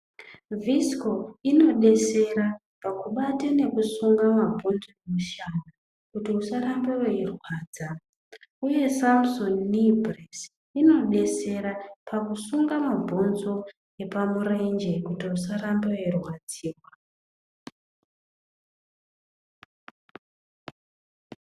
Visiko inodetsera pakubata nekusunga mabhonzo kumushana kuti usarambe weirwadza uye Samusoni nii bhuresi inodetsera pakusunga mabhonzo epamurenge kuitira kuti usarambe weirwadziwa.